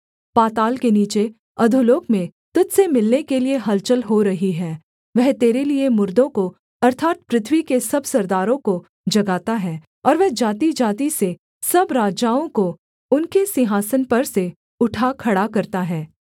पाताल के नीचे अधोलोक में तुझ से मिलने के लिये हलचल हो रही है वह तेरे लिये मुर्दों को अर्थात् पृथ्वी के सब सरदारों को जगाता है और वह जातिजाति से सब राजाओं को उनके सिंहासन पर से उठा खड़ा करता है